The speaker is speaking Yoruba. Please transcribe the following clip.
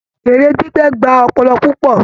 Èrè gbígbẹ́ gba ọpọlọ púpọ̀